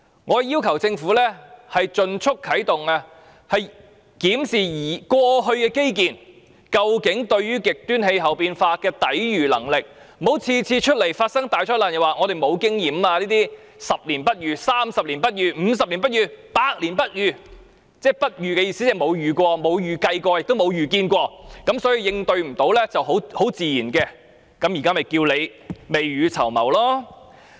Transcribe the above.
我要求政府盡快啟動研究，檢視現時的基建究竟對極端氣候變化有何抵禦能力，不要每次發生大災難後就說本港沒有經驗，說這是10年、30年、50年、100年不遇的情況，意思即是政府不曾遇到及沒有預計有關情況，因而無法應對也很正常。